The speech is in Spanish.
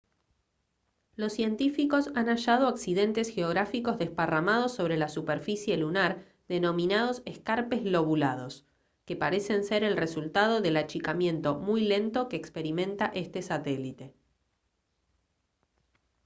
los científicos han hallado accidentes geográficos desparramados sobre la superficie lunar denominados escarpes lobulados que parecen ser el resultado del achicamiento muy lento que experimenta este satélite